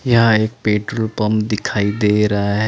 यहां एक petrol pump दिखाई दे रहा है ।